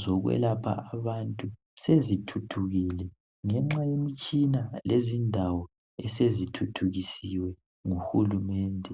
zokwelapha abantu sezithuthukile ngenxa yemitshina lezindawo esezithuthukisiwe nguhulumende.